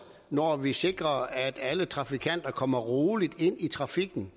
når vi sikrer at alle trafikanter kommer roligt ind i trafikken